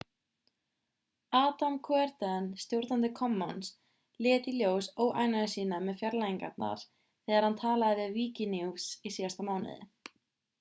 adam cuerden stjórnandi commons lét í ljós óánægju sína með fjarlægingarnar þegar hann talaði við wikinews í síðasta mánuði